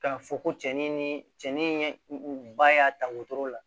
K'a fɔ ko cɛn ni cɛnin ba y'a ta wotoro la